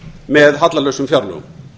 með hallalausum fjárlögum